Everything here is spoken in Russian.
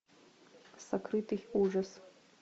сокрытый ужас